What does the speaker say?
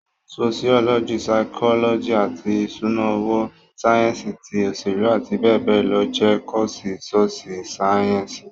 Soṣiọlọji, saikọlọji, eto ìṣúná owó, sáyẹ́ǹsì ti òṣèlú àti bẹẹ bẹẹ lọ jẹ́ kọ́ọ̀sì Sóṣú sáyẹ́ǹsì